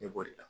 Ne b'o de la